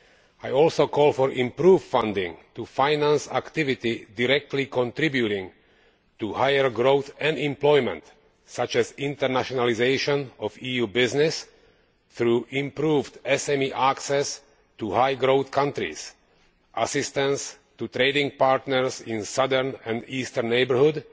I also call for improved funding to finance activity that directly contributes to higher growth and employment, such as the internationalisation of EU business through improved SME access to high growth countries, assistance to trading partners in the southern and eastern neighbourhoods,